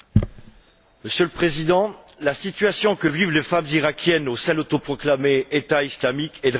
Monsieur le Président, la situation que vivent les femmes iraquiennes au sein de l'autoproclamé État islamique est dramatique.